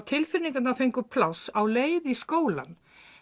tilfinningarnar fengu pláss á leið í skólann